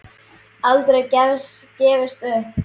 Aldrei gefist upp.